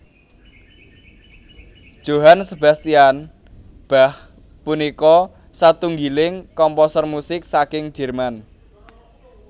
Johann Sebastian Bach punika satunggiling komposer musik saking Jerman